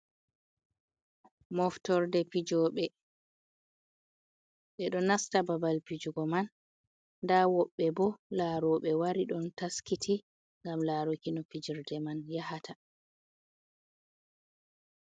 Moftorde fijoɓe, ɓeɗo nasta babal fijugo man, nda woɓɓe bo laro, ɓe wari ɗon taskiti ngam laruki no fijirde man ya hata.